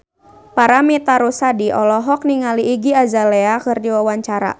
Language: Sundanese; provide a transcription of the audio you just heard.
Paramitha Rusady olohok ningali Iggy Azalea keur diwawancara